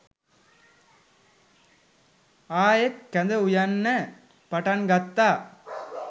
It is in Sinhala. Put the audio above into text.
ආයෙත් කැඳ උයන්න පටන් ගත්තා.